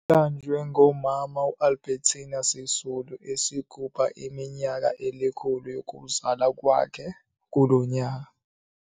Liqanjwe ngoMama Albertina Sisulu esigubha iminyaka elikhulu yokuzalwa kwakhe kulo nyaka.